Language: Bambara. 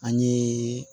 An ye